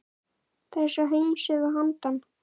Þessa heims eða að handan.